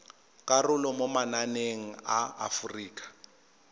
karolo mo mananeng a aforika